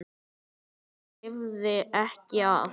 Hann lifði ekki af.